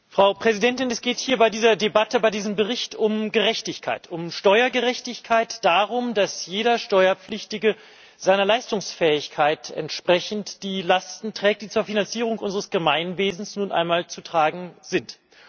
Frau Präsidentin, es geht hier bei dieser Debatte, bei diesem Bericht um Gerechtigkeit, um Steuergerechtigkeit darum, dass jeder Steuerpflichtige seiner Leistungsfähigkeit entsprechend, die Lasten trägt die zur Finanzierung unseres Gemeinwesens nun einmal zu tragen sind.